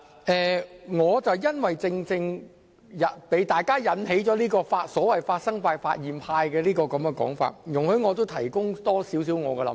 正正因為大家有所謂"發生派"或"發現派"的說法，容許我也提出更多我的看法。